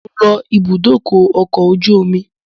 Mo ń lọ ibùdókọ̀ ọkọ̀ ojú omi